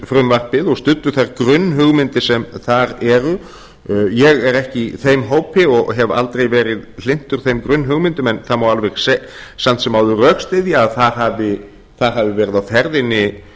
þjóðlendufrumvarpið og studdu þær grunnhugmyndir sem þar eru ég er ekki í þeim hópi og hef aldrei verið hlynntur þeim grunnhugmyndum en það má alveg samt sem áður rökstyðja að þar hafi verið á ferðinni